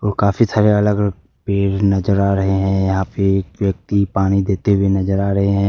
काफी सारे अलग अलग पेड़ नजर आ रहे हैं यहां पे एक व्यक्ति पानी देते हुए नजर आ रहे हैं।